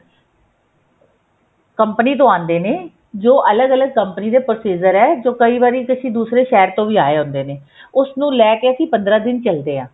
company ਤੋਂ ਆਉਂਦੇ ਨੇ ਜੋ ਅਲੱਗ ਅਲੱਗ company ਦੇ procedure ਹੈ ਜੋ ਕਈ ਵਾਰੀ ਦੂਸਰੇ ਸ਼ਹਿਰ ਤੋਂ ਆਏ ਹੁੰਦੇ ਨੇ ਉਸ ਨੂੰ ਲੈਕੇ ਅਸੀਂ ਪੰਦਰਾਂ ਦਿਨ ਚੱਲਦੇ ਆ